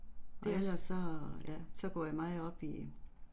Det er også